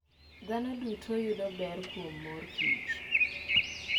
Dhano duto yudo ber kuom mor kich.